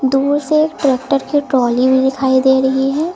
दूर से ट्रैक्टर की ट्रॉली में दिखाई दे रही है।